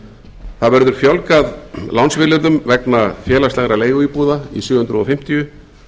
áður það verður fjölgað lánsvilyrðum vegna félagslegra leiguíbúða í sjö hundruð fimmtíu